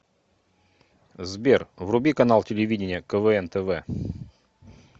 сбер вруби канал телевидения квн тв